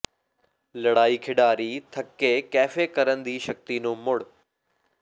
ਲੜਾਈ ਖਿਡਾਰੀ ਥੱਕੇ ਕੈਫੇ ਕਰਨ ਦੀ ਸ਼ਕਤੀ ਨੂੰ ਮੁੜ